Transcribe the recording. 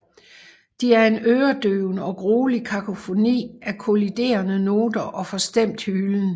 De er en øredøvende og gruelig kakofoni af kolliderende noter og forstemt hylen